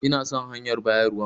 Ina son hanyar bayarwan.